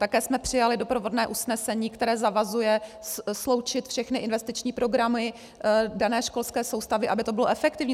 Také jsme přijali doprovodné usnesení, které zavazuje sloučit všechny investiční programy dané školské soustavy, aby to bylo efektivní.